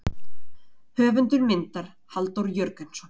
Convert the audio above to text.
Höfundur myndar Halldór Jörgensson.